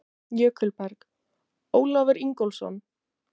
Jökulberg: Ólafur Ingólfsson.